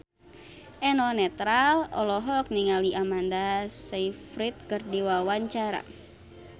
Eno Netral olohok ningali Amanda Sayfried keur diwawancara